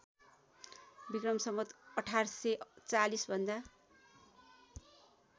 विस १८४० भन्दा